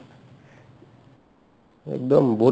একদম বহুত